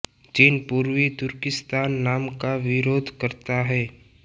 चीन पूर्वी तुर्किस्तान नाम का विरोध करता है